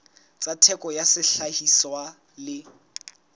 tsa theko ya sehlahiswa le